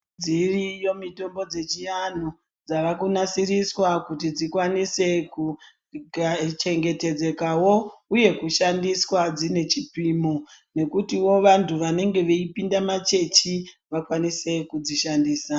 Dziriyo mitombo dzechi antu dzavakunasiriswa kuti dzikwanise kuchengetedzeka wo uye, kushandiswa dzine chipimo nekutiwo vantu vanenge veyipinda machechi vakwanise kudzishandisa.